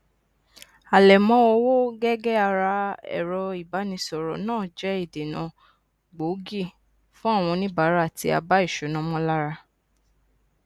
àlẹmọ owó gege ara ẹrọ ìbánisọrọ náà jẹ ìdènà gbòógì fún àwọn oníbàárà tí àbá ìṣúná mọ lára